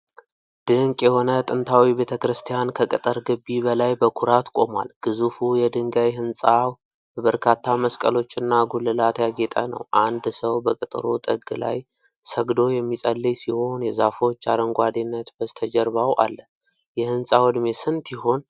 ድንቅ የሆነ ጥንታዊ ቤተክርስቲያን ከቅጥር ግቢ በላይ በኩራት ቆሟል። ግዙፉ የድንጋይ ህንፃው በበርካታ መስቀሎችና ጉልላት ያጌጠ ነው። አንድ ሰው በቅጥሩ ጥግ ላይ ሰግዶ የሚፀልይ ሲሆን፣ የዛፎች አረንጓዴነት በስተጀርባው አለ። የህንፃው እድሜ ስንት ይሆን?